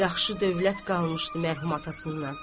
Yaxşı dövlət qalmışdı mərhum atasından.